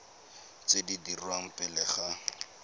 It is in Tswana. tse di dirwang pele ga